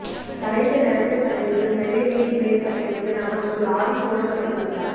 கலைந்த நரைத்த தலையுடன் வெள்ளை வேட்டி மேல்சட்டையுடன் அவள் ஒரு ஆவி போல தோற்றமளித்தாள்